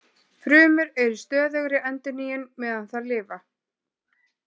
Frumur eru í stöðugri endurnýjun meðan þær lifa.